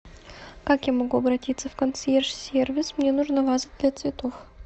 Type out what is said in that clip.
как я могу обратиться в консьерж сервис мне нужна ваза для цветов